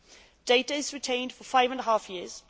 The data is retained for five and a half years.